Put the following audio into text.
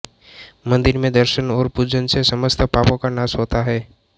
मंदिर में दर्शन और पूजन से समस्त पापों का नाश होता है